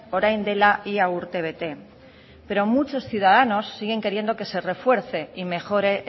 orain dela ia urtebete pero muchos ciudadanos siguen queriendo que se refuerce y mejore